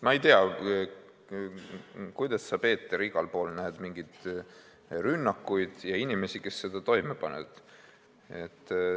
Ma ei tea, kuidas sa, Peeter, igal pool näed mingeid rünnakuid ja inimesi, kes neid toime panevad.